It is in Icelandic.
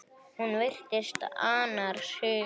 Hún virtist annars hugar.